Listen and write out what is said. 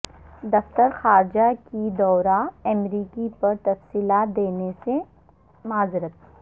دفتر خارجہ کی دورہ امریکہ پر تفصیلات دینے سے معذرت